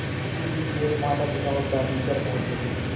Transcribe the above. इसी बीच मेरे मातापिता और दादी घर पहुँच गए